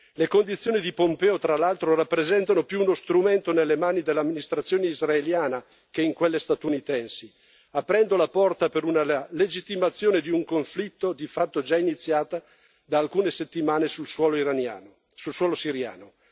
Le condizioni di Pompeo, tra l'altro, rappresentano più uno strumento nelle mani dell'amministrazione israeliana che in quelle statunitensi, aprendo la porta per una legittimazione di un conflitto di fatto già iniziata da alcune settimane sul suolo siriano.